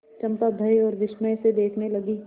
चंपा भय और विस्मय से देखने लगी